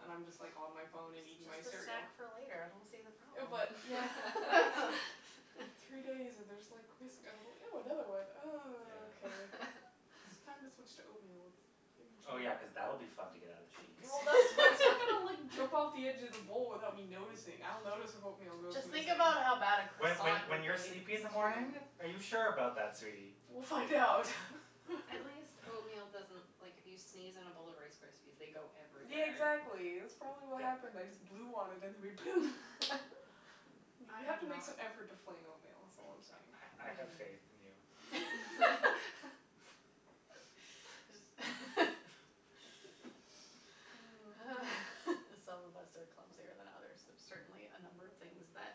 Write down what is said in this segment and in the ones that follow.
and I'm just like on my phone and eating my It's just a cereal. snack for later. I don't see the problem. But. Yeah. But it's like three days and there's like crisp. And I go, ew another one, and Yeah. okay. It's time to switch to oatmeal. Oh, yeah, cuz that'll be fun to get out of the sheets. Well, that's that's not going to like jump off of the edge of the bowl without me noticing. I'll notice if oatmeal goes Just think missing. about how bad a When when croissant when would That's you're be. sleepy in the morning? true. Are you sure about that, sweetie? We'll find out. At least oatmeal doesn't, like, if you sneeze in a bowl of Rice Krispies, they go Yeah, everywhere. exactly. That's probably what happened. I just blew on it and it went poom! You have to make some effort to fling oatmeal, that's all I'm saying. I have faith in you. Mm. Some of us are clumsier than others. There's certainly a number of things that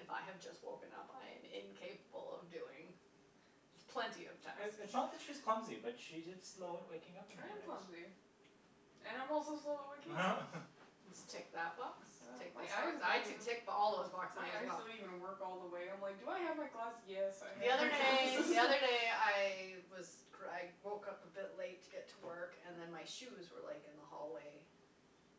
if I have just woken up, I am incapable of doing with plenty of time. It's not that she's clumsy, but she's just slow at waking up in the I am mornings. clumsy. And I'm also slow at waking up. Just tick that box, tick My this eyes one. I don't even. could tick all those boxes My as eyes well. don't even work all the way. I'm like, do I have my glass? Yes, I The have other my day, glasses. the other day I was I woke up a bit late to get to work and then my shoes were like in the hallway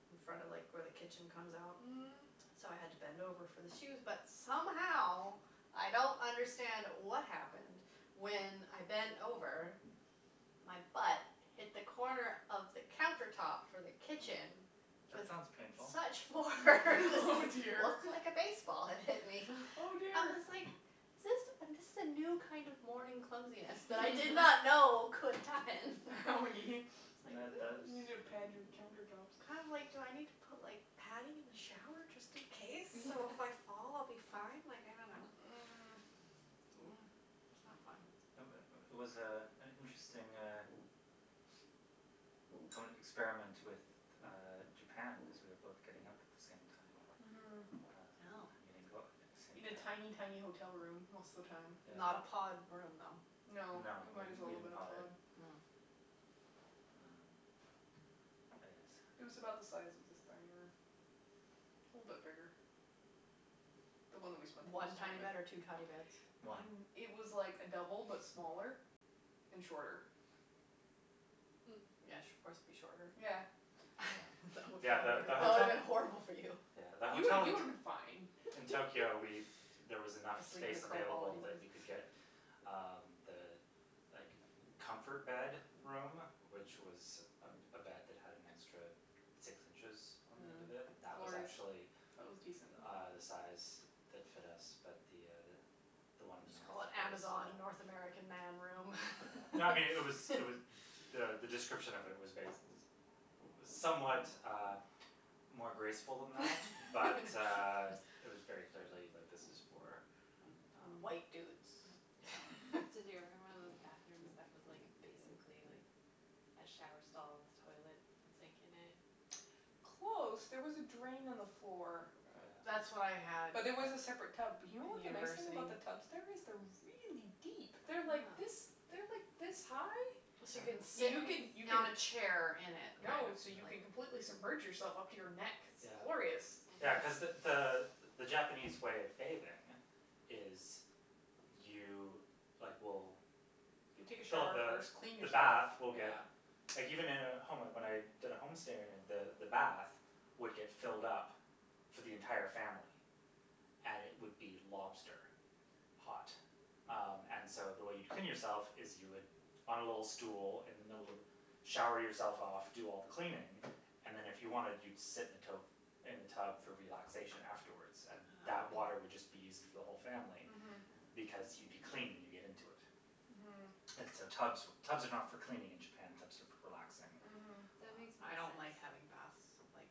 in front of like where the kitchen comes out. Mm. So I had to bend over for the shoes, but somehow I don't understand what happened. When I bent over, my butt hit the corner of the counter top for the kitchen. That With sounds painful. such force. Oh, It dear. looked like a baseball had hit me. Oh, I dear. was like is this, this is a new kind of morning clumsiness that I did not know could happen. Oh. That You, that you need is. to pad your counter tops. I'm like, do I need to put like padding in the shower just in case, so if I fall I'll be fine? Like, I don't know. Mm. That's not fun. It was was, uh, an interesting uh experiment with Japan because we were both getting up at the same time Mhm. and Oh. going out at the same In a tiny, time. tiny hotel room most of the time. Not a Yeah. pod room, though? No, No, it it was might as well bigger have than a been a pod. pod. Well, I guess. It was about the size of this dining room. A little bit bigger. The one that we spent the One most time tiny bed or in. two tiny beds? One. It was like a double but smaller and shorter. Mm. Yes, of course it would be shorter. Yeah. Yeah, yeah, the That would have hotel. been horrible for you. Yeah, the You hotel you in would have been fine. in Tokyo, we there was enough I sleep in a space curled ball available that anyway. we could get um the like comfort bed room, which was a a bed that had an extra six inches on the end of it, that was Glorious. actually That was decent. uh the size that fit us, but the the one Just call it the Amazon North American Man room. No, I mean, it was, it was the the description of it was bas- it was somewhat more graceful than that, but it was very clearly, like, this is for White dudes Um, Did you ever have yeah. one of those bathrooms that was like basically like a shower stall with toilet and sink in it? Close. There was a drain on the floor. That's what I Yeah. had But there was a separate tub. But you know in what the nice thing university. about the tubs? There is they're really deep. They're like this, Huh. they're like this high. you can Yeah. sit You can, you on can. a chair in it kind of No, so you can like completely submerge yourself up to your neck. It's Yeah. glorious. Yeah, cuz the the the Japanese way of bathing is you like will You take a Fill up shower the first, clean the yourself, bath will get yeah. Like, even in a home, like when I did a home stay the the bath would get filled up for the entire family. And it would be lobster hot. Um, and so, the way you'd clean yourself is you would on a little stool in the middle of the, shower yourself off, do all the cleaning and then, if you wanted, you'd sit in the tote, in the tub for relaxation afterwards. And that Ah. water would just be used for the whole family. Mhm. Because you'd be clean when you get into it. Mhm. And so so tubs for tubs are not for cleaning in Japan, tubs are for relaxing. Mhm. That makes more I don't like having sense. baths, like,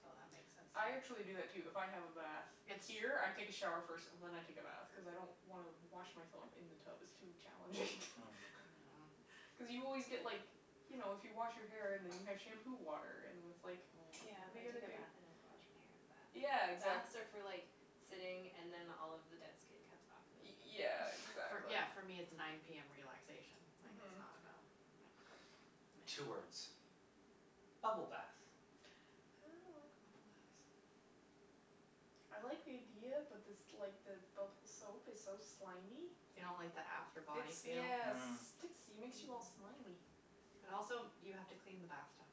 so that makes sense to I actually do me. that, too. If I have a bath here, I take a shower first and then I take a bath cuz I don't wanna wash myself in the tub; it's too challenging. Hm. Mhm. Cuz you always get, like, you know, if you wash your hair and then you have shampoo water and then it's like Yeah, I what are you gonna take a do? bath and then wash my hair in the bath. Yeah, exactly. Baths are for like sitting and then all of the dead skin comes off Y- really easy. yeah, exactly. Yeah, for me it's nine PM. Relaxation. Like, it's Mhm. not about. Yeah. Two words: bubble bath. I don't like bubble baths. I like the idea, but this like the bubble soap is so slimy. You don't like the after body It's feel? yes it Mm. sticks, it makes you all slimy. Mm. And also, you have to clean the bath tub.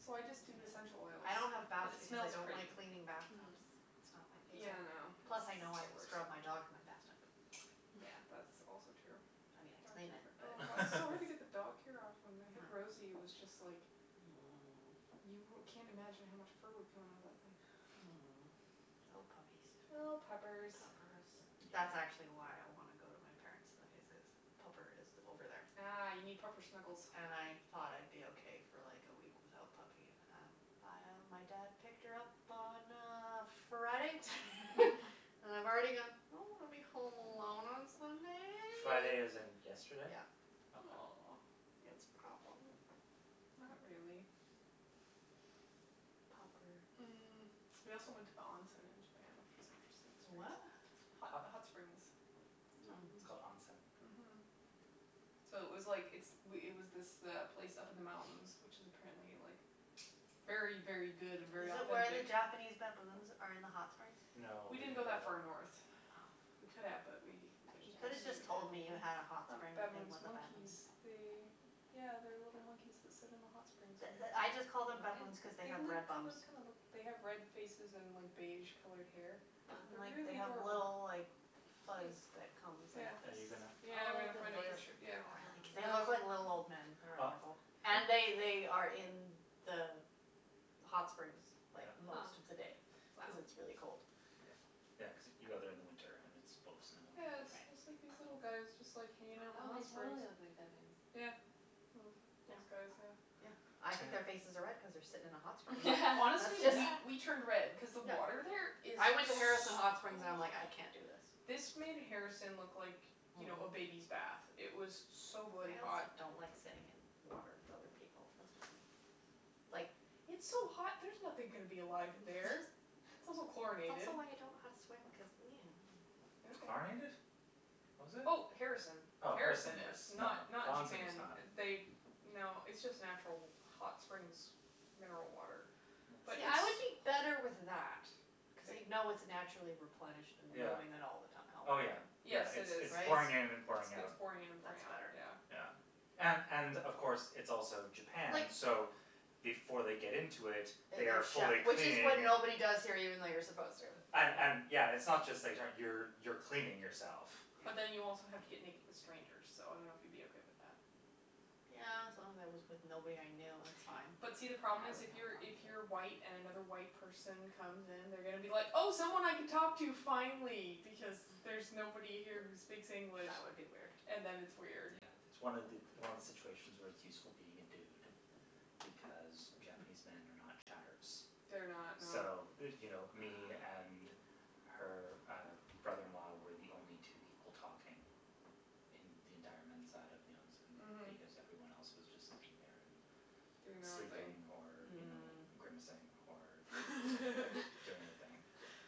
Yeah. So I just do essential oils Yeah, I don't have because baths it because I smells don't pretty. like cleaning bath Mm. tubs. It's not my Yeah, I favorite. Plus, know, I know it's I've the scrubbed my worst. dog in my bath tub. Yeah, that's also true. I mean, I clean it, Oh, but. god, it's so hard to get the dog hair off. When we had Rosie, it was just like you wou- can't imagine how much fur would come out of that thing. Oh, puppies. Oh, puppers. Puppers. That's actually Yeah. why I want to go to my parents' tonight is cuz pupper is over there. Ah, you need proper snuggles. And I thought I'd be okay for like a week without puppy and, um, my dad picked her up on, uh, Friday and I've already gone I don't want to be home alone on Friday as Sunday. in yesterday? Yeah. Okay. Aw. It's a problem. Not really. Popper. Mm. We also went to the onsen in Japan, which was interesting To what? experience. Hot Hot. hot springs. It's Mm. called onsen. Mhm. So it was like it's it was this place up in the mountains, which is apparently like very, very good and very Is it where the authentic. Japanese baboons are in the hot springs? No, we We didn't didn't go go that far there. north. Oh. We could have but we just There's You could have Japanese just told me you baboons? had a hot Um, spring things baboons, with monkeys. baboons. They Oh. Yeah, they're little monkeys that sit in the hot springs The and the I just called them baboons cuz they They've have red look bums. kinda kinda look, they have red faces and like beige colored hair. Huh. And They're like, they really have adorable. little, like, fuzz Cute. that comes like this. Are you gonna? Yeah, I'm going to find a picture, yeah. They look um like little old men. They Ah. are adorable. And they they are in the hot springs like Yeah. most of the day Huh. cuz it's really cold. Yeah, yeah cuz you go there in the winter and it's full snow. Yeah, it's it's like these little guys just like hanging out in the Oh, hot they springs. totally look like baboons. Yeah. Well, these guys, yeah. Yeah. I think their faces are red Yeah. cuz they're sitting in a hot spring. That's Honestly, just. we we turned red Yeah. cuz the Yeah. water there is I went to so Harrison hot. Hot Springs and I'm like, "I can't do this". This made Harrison look like, you Mhm. know, a baby's bath. It was so bloody I hot. also don't like sitting in water with other people. That's just me. Like. It's so hot; there's nothing gonna be alive in there. It's also It's chlorinated. also why I don't know how to swim cuz Okay. Chlorinated? Was it? Oh, Harrison. Oh, Harrison Harrison yes. is, No, not not the onsen Japan. is not. They, no, it's just natural hot springs mineral water. But Yeah, it's I would be Yes. better with that cuz you know it's naturally replenished and Yeah. moving out all the time, Oh, yeah, right? Yes, yeah, it it's is. it's It's it's pouring in and pouring out. pouring in and pouring That's out, better. yeah. Yeah. And and, of course, it's also Like. Japan, so before they get into it, That they are they've fully showered. Which is when cleaning. nobody does here even though you're supposed to. And and, yeah. It's not just that how you you're cleaning yourself. But then you also have to get naked with strangers, so I don't know if you'd be okay with that. Yeah, as long as I was with nobody I knew, that's fine. But see, the I wouldn't have a problem is, if you're, if you're problem with it. white and another white person comes in, they're going to be like, oh, someone I can talk to finally, because there's nobody here who speaks English. That would be weird. And then it's weird. Yeah, it's one it's one of the situations where it's useful being a dude because Japanese men are not chatterers. They're not, So, no. you know, me and her uh brother in law were the only two people talking in the entire men's side of the Mhm. onsen. Because everyone else was just in there and Doing their own thing. sleeping or, you know, Mm. grimacing or or doing their thing.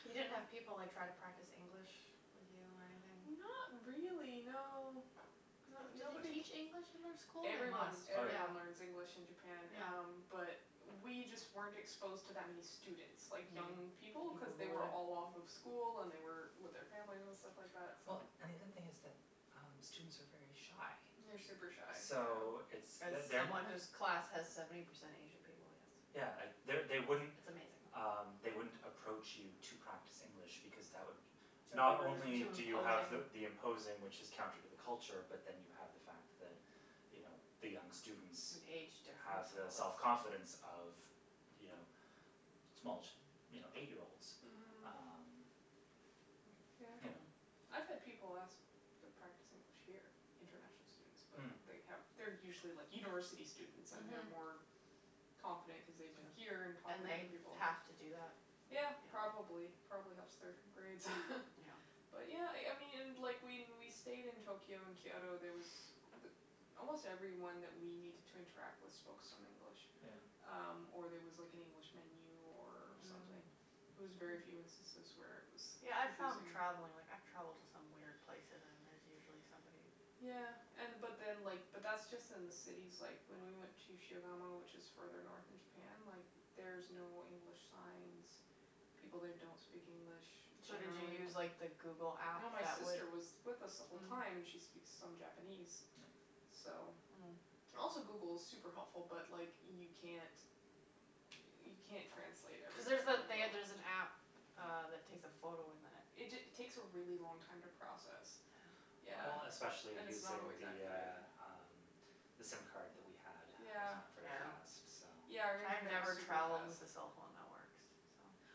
You didn't have people like try to practice English with you or anything? Not really, no. Do they Nobody teach k- English in their school? They Everyone, must, Oh, yeah. yeah. everyone learns English in Japan um Yeah. But we just weren't exposed to that many students, like young people, cuz they were all off of school and they were with their family and stuff like that, so. Well, and the other thing is that uh students are very shy. They're super shy, So yeah. it's As they're they're not someone whose class has seventy percent Asian people, yes. Yeah, they It's they wouldn't amazing. Um, they wouldn't approach you to practice English because that would Not only Too do you have the imposing. imposing, which is counter to the culture, but then you have the fact that, you know, the young students An age have difference and the self all that. confidence of, you know, small, you know, eight year olds. Mhm. Um, you know Yeah. I've had people ask to practice English here, international students, but Hm. they have they're usually, like, university students and they're Mhm. more confident cuz they've been here and talk And with they other people. have to do that. Yeah, Yeah. probably. It probably helps their grades Yeah. But yeah, I I mean, and like, when we stayed in Tokyo and Kyoto, there was almost everyone that we needed to interact with spoke some English. Yeah. Um, or there was like an Mm. English menu or something. Mm. It was very few instances where it was Yeah, I found confusing. travelling, like, I've travelled to some weird places and there's usually somebody Yeah, and but that. then, like, but that's just in the cities. Like, when we went to Shigamo, which is further north in Japan, like, there's no English signs. People there don't speak English So did you generally. use, like the Google app No, my that would sister was with us the whole Mm. time, and she speaks some Japanese, Yeah. so. Mm. Also, Google is super helpful, but like, you can't you can't translate Cuz there's everything on that the they there's go. an app uh that takes a photo and then it It ta- takes a really long time to process. Yeah. Yeah. Well, especially And it's not using always the, accurate. uh, um, the sim card that we had was not very Yeah. Yeah. fast, so Yeah, our I've internet was never super travelled fast. with the cell phone networks,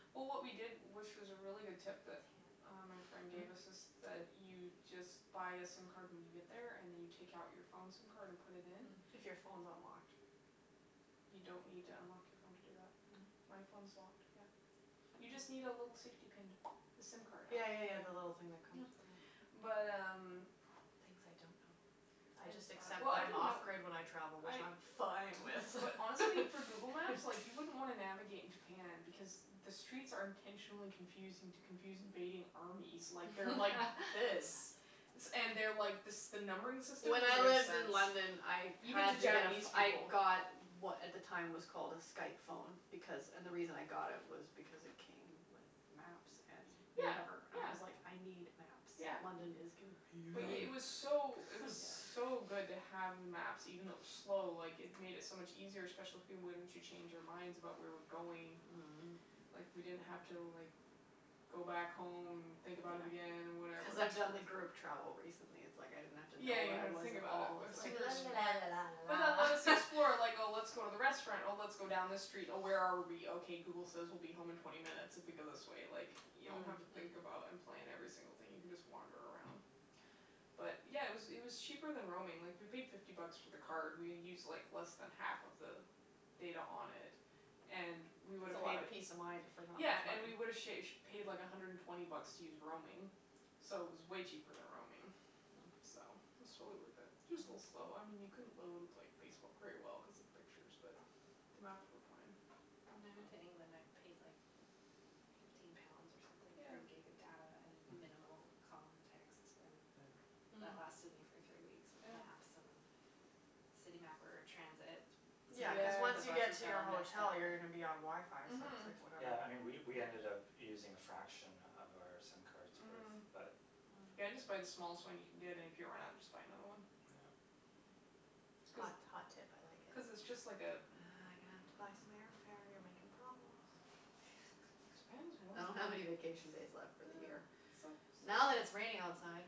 so. Well, what we did, which is a really good tip that uh my friend gave Mm? us is that you just but a sim card when you get there and then you take out your phone sim card and put it in. If your phone's unlocked. You don't need to unlock your phone to do that. Mm? My phone's locked, yeah. You just need a Hm. little safety pin to the sim card out. Yeah, yeah, yeah, the little thing that comes. Yeah. Yeah. But um Things I don't know. I just accept Well, I that I'm didn't off know. grid when I travel, I which I'm fine with. But honestly, for Google Maps, like, you wouldn't wanna navigate in Japan because the streets are intentionally confusing to confuse invading armies. Like, they're like this. And they're like, this the numbering system When I doesn't make lived sense. in London I Even to had to get, Japanese I people. got what at the time was called a Skype phone because, and the reason I got it was because it came with maps and Yeah, whatever. I yeah, was like, I need yeah. maps. London is But Oh, yeah. it confusing. was Oh, so it was yeah. so good to have the maps. Even though it was slow, like, it made it so much easier, especially once you change your minds about where we're going. Mhm. Like, we didn't have to, like, go back home and think about it again and Yeah. whatever. Cuz I've done the group travel recently. It's like, I didn't have to Yeah, know you where don't I have to was think at about all. I was like la la la la la it. But then la let us la explore, like, oh, let's go to the restaurant, or let's go down this street, oh, where are we? Okay Google says we'll be home in twenty minutes if we go this way, like, you don't have to think Mm. about and plan every single thing. You can just wander around. But, yeah, it was it was cheaper than roaming. Like, we paid fifty bucks for the card. We used like less than half of the data on it and we would It's a have lot paid of peace of mind for not Yeah, much and we money. would have sha- paid like a hundred and twenty bucks to use roaming, so it was way cheaper than roaming, Mm. so it's totally worth it. Just a little slow. I mean, you couldn't load, like, Facebook very well cuz of the pictures, but the maps were fine. When I went to England, I paid like fifteen pounds or something Yeah. for a gig of data and Mhm. minimal call and text and Yeah. Mm. that lasted me for three weeks with Yeah. maps, and City Mapper, transit. Yeah, cuz Sometimes the once you Yeah. get buses to got your all messed hotel up, you're gonna but be on WiFi, so it's like Mhm. whatever. Yeah, and we we ended up using a fraction of our sim cards with Mhm. that. Mm. Yeah, just buy the smallest one you can get, and if you run out just buy another one. Yeah. Cuz Hot, hot tip, I like cuz it's it. just like a Ah, I'm gonna have to buy some airfare. You're making problems. His parents I don't have any vacation days left for the year. It's so Now that so it's raining outside.